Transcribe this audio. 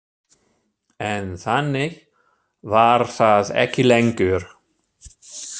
En þannig var það ekki lengur.